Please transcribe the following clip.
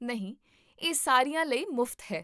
ਨਹੀਂ, ਇਹ ਸਾਰਿਆਂ ਲਈ ਮੁਫਤ ਹੈ